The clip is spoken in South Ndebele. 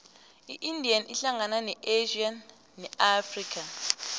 iindia ihlangana ne asia ne afrika